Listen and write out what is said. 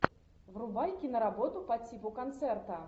врубай киноработу по типу концерта